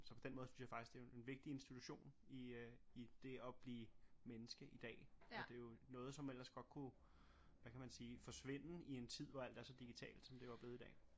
Så på den måde synes jeg faktisk det jo en vigtig instutition i øh i det at blive menneske i dag og det jo noget som ellers godt kunne hvad kan man sige forsvinde i en tid hvor alt er så digitalt som det jo er blevet i dag